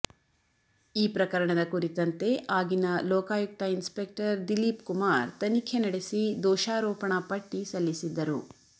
ಈ ಪ್ರಕರಣದ ಕುರಿತಂತೆ ಆಗಿನ ಲೋಕಾಯುಕ್ತ ಇನ್ಸ್ಪೆಕ್ಟರ್ ದಿಲೀಪ್ ಕುಮಾರ್ ತನಿಖೆ ನಡೆಸಿ ದೋಷಾರೋಪಣಾ ಪಟ್ಟಿ ಸಲ್ಲಿಸಿದ್ದರು